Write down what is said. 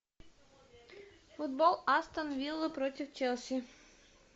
футбол астон вилла против челси